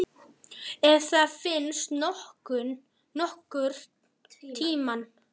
Ef það þá finnst nokkurn tímann.